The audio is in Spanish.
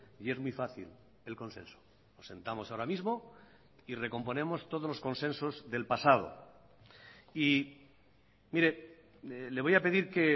y es muy fácil el consenso nos sentamos ahora mismo y recomponemos todos los consensos del pasado y mire le voy a pedir que